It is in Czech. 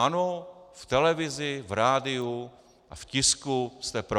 Ano, v televizi, v rádiu a v tisku jste pro.